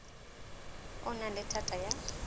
o nang le thata ya